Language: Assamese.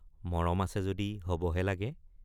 মৰম আছে যদি হবহে লাগে।